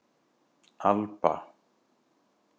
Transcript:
Alba